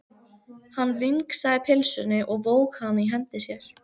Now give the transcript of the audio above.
Hann vingsaði pylsunni og vóg hana í hendi sér.